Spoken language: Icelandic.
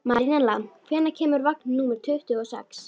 Marinella, hvenær kemur vagn númer tuttugu og sex?